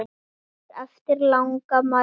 Hún kemur eftir langa mæðu.